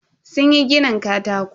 Sunyi ginin katako.